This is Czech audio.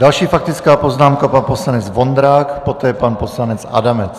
Další faktická poznámka, pan poslanec Vondrák, poté pan poslanec Adamec.